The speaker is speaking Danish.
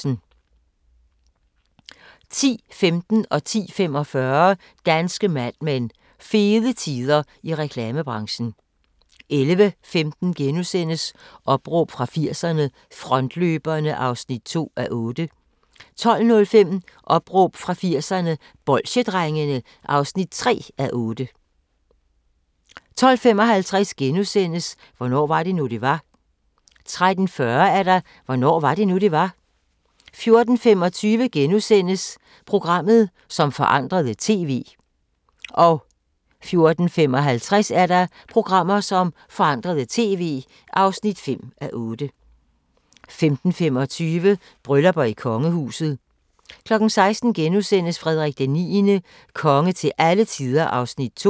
10:15: Danske Mad Men: Fede tider i reklamebranchen 10:45: Danske Mad Men: Fede tider i reklamebranchen 11:15: Opråb fra 80'erne – Frontløberne (2:8)* 12:05: Opråb fra 80'erne – Bolsjedrengene (3:8) 12:55: Hvornår var det nu, det var? * 13:40: Hvornår var det nu, det var? 14:25: Programmer, som forandrede TV (4:8)* 14:55: Programmer, som forandrede TV (5:8) 15:25: Bryllupper i kongehuset 16:00: Frederik IX – konge til alle tider (2:6)*